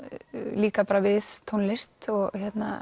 líka bara við tónlist og